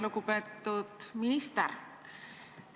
Lugupeetud minister!